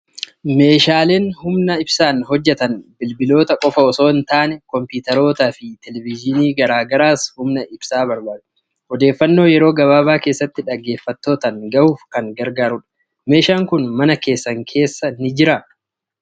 Meeshaaleen humna ibsaan hojjetan bilbiloota qofaa osoo hin taane, kompiitarootaa fi Televiyiniiwwan garaa garaas humna ibsaa barbaadu. Odeeffannoo yeroo gabaabaa keessatti dhaggeeffattootaan gahuuf kan gargaarudha. Meeshaan kun mana keessan keessa ni jiraa?